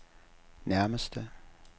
nærmeste